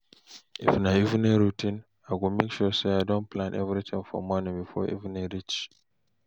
if na evening routine I go mek sure say I don plan evritin for morning bifor evening reach